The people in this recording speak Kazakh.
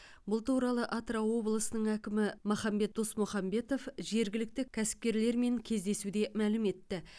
бұл туралы атырау облысының әкімі махамбет досмұхамбетов жергілікті кәсіпкерлермен кездесуде мәлім етті